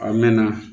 A mɛɛnna